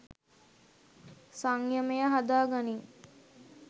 සංයමය හදා ගනිං